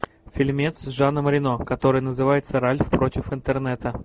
фильмец с жаном рено который называется ральф против интернета